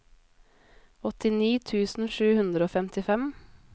åttini tusen sju hundre og femtifem